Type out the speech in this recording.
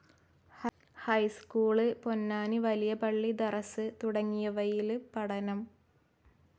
High school, Ponnani വലിയ പള്ളി ദറസ് തുടങ്ങിയവയില് പഠനം.